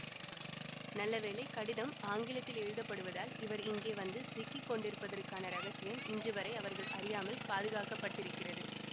நல்லவேளை கடிதம் ஆங்கிலத்தில் எழுதப்படுவதால் இவர் இங்கே வந்து சிக்கி கொண்டிருப்பதற்கான ரகசியம் இன்றுவரை அவர்கள் அறியாமல் பாதுகாக்கப்பட்டிருக்கிறது